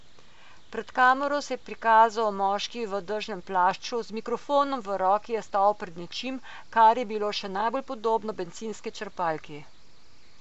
Pred kamero se je prikazal moški v dežnem plašču, z mikrofonom v roki je stal pred nečim, kar je bilo še najbolj podobno bencinski črpalki.